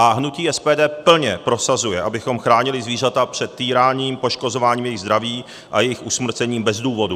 A hnutí SPD plně prosazuje, abychom chránili zvířata před týráním, poškozováním jejich zdraví a jejich usmrcením bez důvodu.